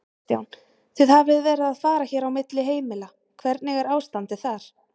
Kristján: Þið hafið verið að fara hér á milli heimila, hvernig er ástandið þar?